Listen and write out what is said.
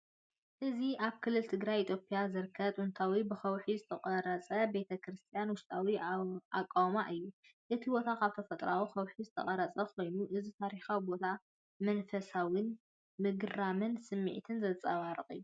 እዚ ኣብ ክልል ትግራይ ኢትዮጵያ ዝርከብ ጥንታዊ ብከውሒ ዝተቖርጸ ቤተ ክርስቲያን ውሽጣዊ ኣቃውማ እዩ። እቲ ቦታ ካብ ተፈጥሮኣዊ ከውሒ ዝተቐርጸ ኮይኑ፡ እዚ ታሪኻዊ ቦታ መንፈሳውነትን ምግራምን ስምዒት ዘንጸባርቕ እዩ።